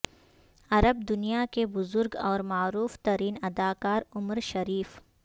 عرب دنیا کے بزرگ اور معروف ترین اداکار عمر شریف